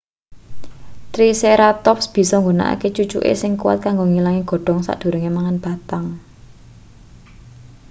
triceratops bisa nggunakake cucuke sing kuwat kanggo ngilangi godhong sadurunge mangan batang